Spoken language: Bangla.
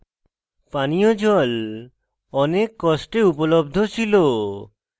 পানীয় জল অনেক কষ্টে উপলব্ধ ছিল